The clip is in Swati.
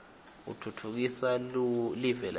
utfutfukisa liue lakitsi